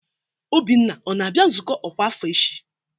Obinna ọ na-abịa nzukọ ọkwa afọ echi?